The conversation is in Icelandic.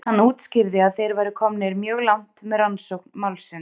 Hann útskýrði að þeir væru komnir mjög langt með rannsókn málsins.